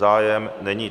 Zájem není.